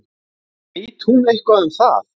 Veit hún eitthvað um það?